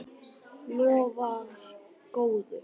Lofar góðu.